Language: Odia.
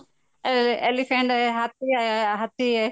ଆଁ elephant ହାତୀ ହାତୀ